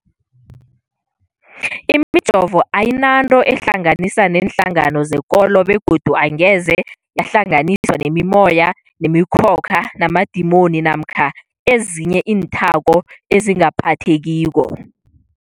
Imijovo ayinanto eyihlanganisa neenhlangano zekolo begodu angeze yahlanganiswa nemimoya, nemi khokha, namadimoni namkha ezinye iinthako ezingaphathekiko.